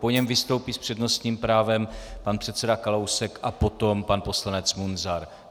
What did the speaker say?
Po něm vystoupí s přednostním právem pan předseda Kalousek a potom pan poslanec Munzar.